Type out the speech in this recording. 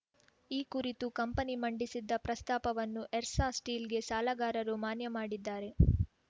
ಈ ಕುರಿತು ಕಂಪನಿ ಮಂಡಿಸಿದ್ದ ಪ್ರಸ್ತಾಪವನ್ನು ಎಸ್ಸಾರ್‌ ಸ್ಟೀಲ್‌ಗೆ ಸಾಲಗಾರರು ಮಾನ್ಯ ಮಾಡಿದ್ದಾರೆ